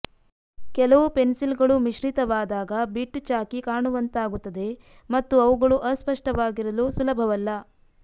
ಕೆಲವು ಪೆನ್ಸಿಲ್ಗಳು ಮಿಶ್ರಿತವಾದಾಗ ಬಿಟ್ ಚಾಕ್ಕಿ ಕಾಣುವಂತಾಗುತ್ತದೆ ಮತ್ತು ಅವುಗಳು ಅಸ್ಪಷ್ಟವಾಗಿರಲು ಸುಲಭವಲ್ಲ